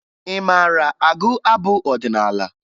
Ị maara agụ abụ ọdịnaala?